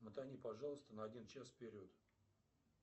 мотани пожалуйста на один час вперед